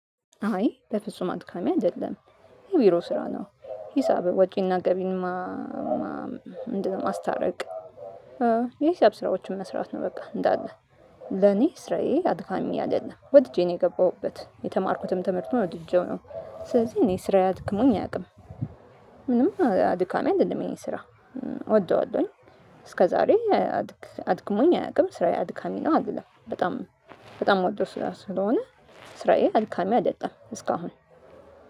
አይ በፍጹም አድካሚ አይደለም የቢሮ ስራ ነው። ሂሳብ ወጪና ገቢን ማስታረቅ። የሂሳብ ስራዎችን መስራት ነው በቃ እንዳለ ለኔ ስራዬ አድካሚ አይደለም። ወድጄ ነው የገባሁበት የተማርኩትም ትምህርቱን ወድጄው ነው። ስለዚህ እኔ ስራዬ አድክሞኝ አያውቅም። ምንም አድካሚ አይደለም ይ ስራ እወደዋለሁኝ። እስከዛሬ አድክሞኝ አያውቅም። ስራዬ አድካሚ ነው አይደለም። በጣም በጣም ምወደው ስራ ስለሆነ ስራዬ አድካሚ አይደለም እስካሁን